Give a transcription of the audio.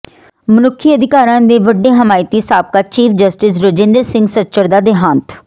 ਮਨੁੱਖੀ ਅਧਿਕਾਰਾਂ ਦੇ ਵੱਡੇ ਹਮਾਇਤੀ ਸਾਬਕਾ ਚੀਫ ਜਸਟਿਸ ਰਜਿੰਦਰ ਸਿੰਘ ਸੱਚਰ ਦਾ ਦਿਹਾਂਤ